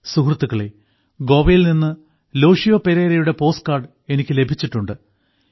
സുഹൃത്തുക്കളേ ഗോവയിൽ നിന്ന് ലോറെൻഷിയോ പെരേരയുടെ പോസ്റ്റ് കാർഡ് എനിക്ക് ലഭിച്ചിട്ടുണ്ട്